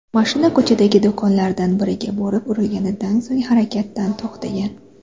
Mashina ko‘chadagi do‘konlardan biriga borib urilganidan so‘ng harakatdan to‘xtagan.